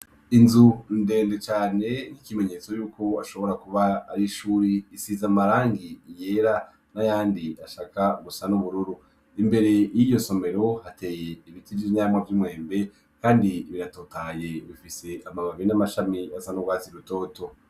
Inzu ndende cane n'ikimenyetso yuko ashobora kuba ari ishuri isiza amarangi yera n'ayandi ashaka gusa n'ubururu, imbere y'iyo somero hateye ibiti vy'ivyamwa vy'imwembe, kandi biratotaye bifise amamabi n'amashami asa n'urwazi rutoto.